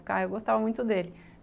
Eu gostava muito dele.